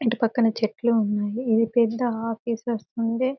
ఇటు పక్కన చెట్లు ఉన్నాయి ఏ పెద్ద ఆఫీసర్స్ ఉండే.